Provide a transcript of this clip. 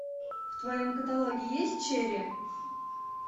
в твоем каталоге есть черри